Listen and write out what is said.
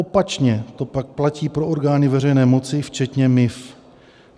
Opačně to pak platí pro orgány veřejné moci včetně MIV.